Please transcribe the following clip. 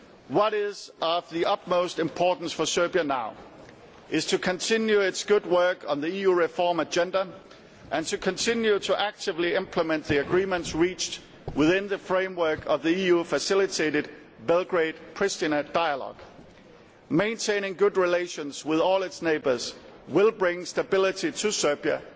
What is of the utmost importance for Serbia now is to continue its good work on the EU reform agenda and to continue to actively implement the agreements reached within the framework of the EU facilitated Belgrade Priština dialogue. Maintaining good relations with all its neighbours will bring stability to Serbia